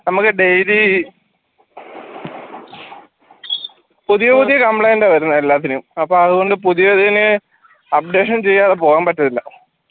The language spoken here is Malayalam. നമുക്ക് daily പുതിയ പുതിയ complaint ആ വരുന്നേ എല്ലാത്തിനും അപ്പോ അതുകൊണ്ട് പുതിയതിന് updation ചെയ്യാതെ പോകാൻ പറ്റത്തില്ല